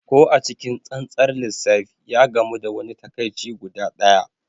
Ko a cikin tsantsar lissafi, ya gamu da wani takaici guda ɗaya.